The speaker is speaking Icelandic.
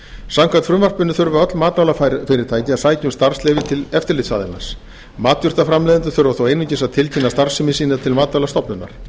samkvæmt frumvarpinu þurfa öll matvælafyrirtæki að sækja um starfsleyfi til eftirlitsaðilans matjurtaframleiðendur þurfa þó einungis að tilkynna starfsemi sína til matvælastofnunar